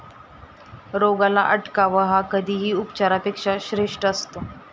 रोगाला अटकाव हा कधीही उपचारापेक्षा श्रेष्ठ असतो.